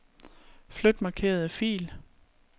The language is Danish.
Flyt markerede fil.